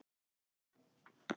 Auglýsir eftir fjórhjóli